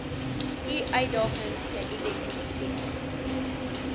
i uitdagings geïdenti